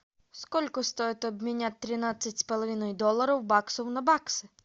сколько стоит обменять тринадцать с половиной долларов баксов на баксы